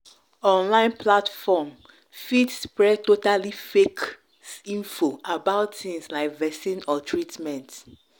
online platform fit spread totally fake info about things like vaccine or treatment.